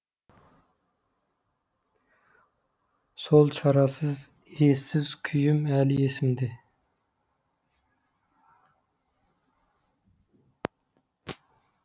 сол шарасыз ессіз күйім әлі есімде